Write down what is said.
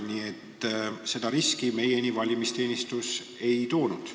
Nii et seda riski valimisteenistus komisjonis välja ei toonud.